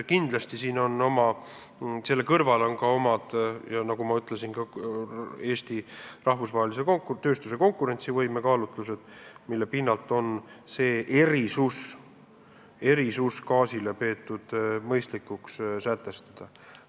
Nagu ma ütlesin, lähtudes ka Eesti tööstuse rahvusvahelise konkurentsivõime huvidest, on peetud mõistlikuks gaasile see erisus sätestada.